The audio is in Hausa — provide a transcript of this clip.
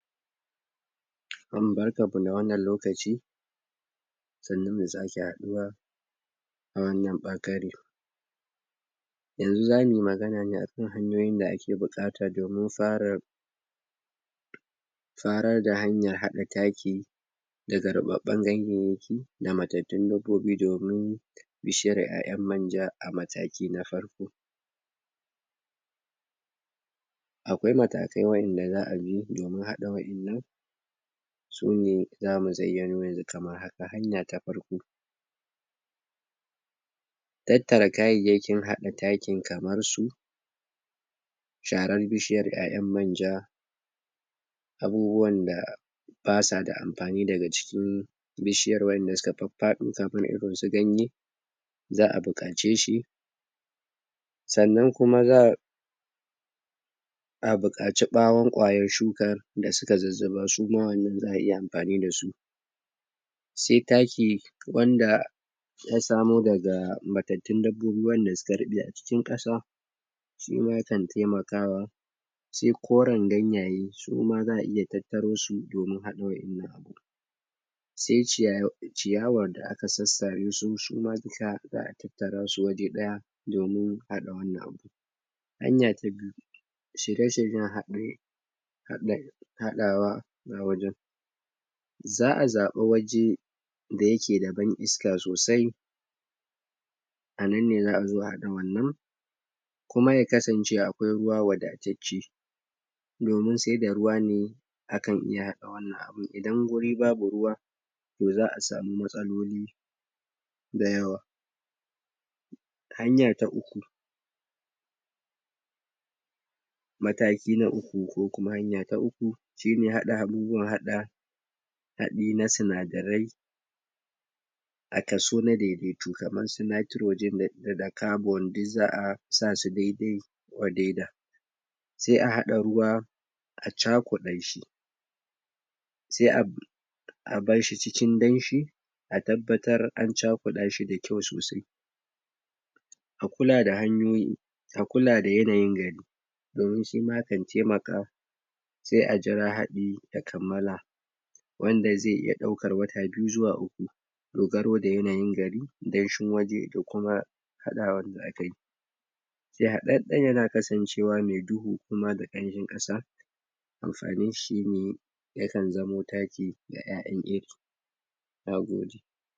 Barkanmu da wannan lokaci sannunmu da sake haɗuwa a wannan ɓakare yanzu za mui magana ne akan hanyoyin da ake buƙata domin fara farar da hanyar haɗa taki daga ruɓaɓɓen ganyayyaki da matattun dabbobi domin bishar 'ya'yan manja a mataki na farko akwai matakai wanda za a bi domin haɗa wa'yannan su ne za mu zayyano ne kamar haka, hanya ta farko tattara kayayyakin haɗa taki kamar su sharar bishiyar 'ya'yan manja abubuwan da ba sa da amfani daga jikin bishiyar wanda suka faffaɗo kamar irin su ganye za a buƙace shi sannan kuma za a za a buƙaci ɓawon kwayar shukar da suka zuzzuba suma wannan za a iya mafani da su se taki wanda ya samu daga matattun dabbobi wanda duka ruɓe a cikin ƙasa suma kan taimakawa se koren ganyaye suma za a iya tattaro su domin haɗa wa'yanna se ciy ciyawar da aka sassare shi shi ma duka za a tattara su waje ɗaya domin haɗa wannan hanya ta biyu shirye-shiryen haɗi haɗin\ haɗawa na wajen za a zaɓi waje da yake da ban iska sosai a nan ne za a zo a haɗa wannan kuma ya kasance akwai ruwa wadatacce domin sai da ruwa ne akan iya haɗa wannan abin idan wuri babu ruwa to za a samu matsaloli da yawa hanya ta uku mataki na uku ko kuma hanya ta uku shi ne haɗa abubuwan haɗa haɗi na sinadarai a kaso na daidaito kamar su Nitrogen da Carbon diz za a sa su daidai wa daidai da se a haɗa ruwa a cakuɗa shi se ab a barshi cikin danshi a tabbatar an cakuɗa shi da kyau sosai a kula da hanyoyin a kula da yanayin gari domin shi na kan taimaka sai a jira haɗi a ya kammala wanda ze iya ɗaukar wata biyu zuwa uku dogaro da yanayin gari danshin waje da kuma haɗawan da akai haɗaɗɗen yana kasancewa me duhu kuma dan kanshin ƙasa amfaninshi shi ne yakan zamo taki ga 'ya'yan Na gode!